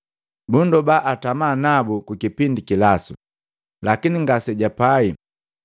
Bundoba atamanabu kukipindi kilasu, lakini ngasejapai.